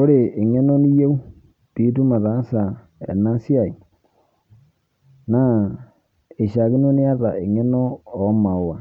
Ore eng'eno niyou piitum ataasa enasiai naa eishakino niata eng'eno omaua